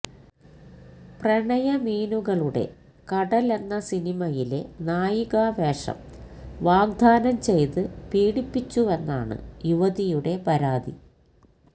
പ്രണയമീനുകളുടെ കടല് എന്ന സിനിമയിലെ നായിക വേഷം വാഗ്ദ്ധാനം ചെയ്ത് പീഡിപ്പിച്ചുവെന്നാണ് യുവതിയുടെ പരാതി